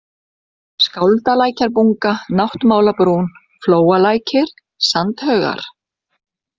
Skáldalækjarbunga, Náttmálabrún, Flóalækir, Sandhaugar